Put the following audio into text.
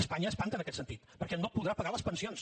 espanya espanta en aquest sentit perquè no podrà pagar les pensions